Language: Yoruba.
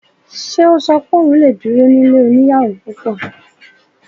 Ṣe ò sọ pé òun lè duro ní ilé oníyàwò púpọ̀?